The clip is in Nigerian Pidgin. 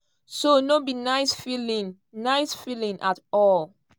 so no be nice feeling nice feeling at all.